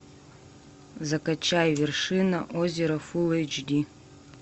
закачай вершина озера фул эйч ди